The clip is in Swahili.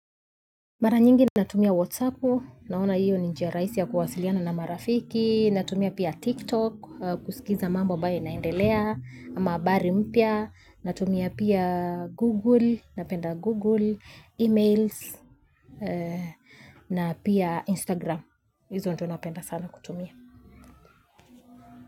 Mara nyingi natumia whatsapp, naona hiyo ni njia rahisi ya kuwasiliana na marafiki, natumia pia tiktok, kusikiza mambo ambayo inaendelea, ama habari mpya, natumia pia google, napenda google, emails, na pia instagram hizo ndo napenda sana kutumia.